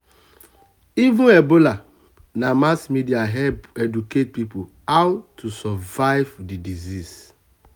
even ebola na mass um media help educate people how um to survive the um disease.